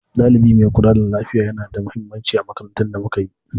Ɗalibi mai kula da lafiya yana da mahimmanci a makarantun da muka yi.